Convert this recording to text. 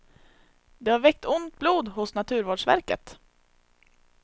Det har väckt ont blod hos naturvårdsverket.